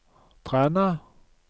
Træna